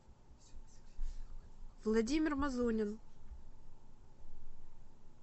владимир мазунин